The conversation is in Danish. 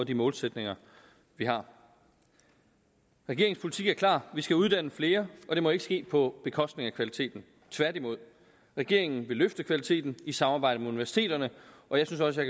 de målsætninger vi har regeringens politik er klar vi skal uddanne flere og det må ikke ske på bekostning af kvaliteten tværtimod regeringen vil løfte kvaliteten i samarbejde med universiteterne og jeg synes også at